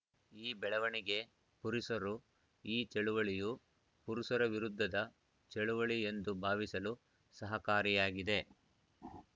ಈ ಬೆಳವಣಿಗೆ ಪುರುಷರು ಈ ಚಳವಳಿಯು ಪುರುಷರ ವಿರುದ್ಧದ ಚಳವಳಿ ಎಂದು ಭಾವಿಸಲು ಸಹಕಾರಿಯಾಗಿದೆ